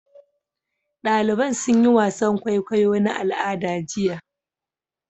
Daliban sun yi wasan kwaikwayo na al'ada jiya.